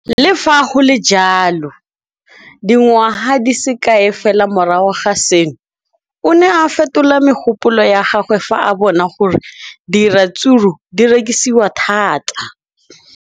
Le fa go le jalo, dingwaga di se kae fela morago ga seno, o ne a fetola mogopolo wa gagwe fa a bona gore diratsuru di rekisiwa thata.